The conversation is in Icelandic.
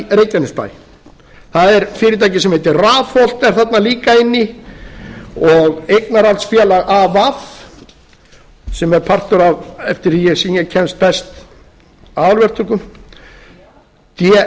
reykjanesbæ það er fyrirtæki sem heitir rafholt þarna líka inn í og eignarhaldsfélag av sem er partur af eftir því sem ég kemst best af aðalverktökum dm e